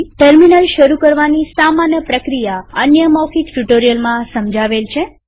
terminal શરુ કરવાની સામાન્ય પ્રક્રિયા અન્ય મૌખિક ટ્યુ્ટોરીઅલમાં સમજાવેલ છે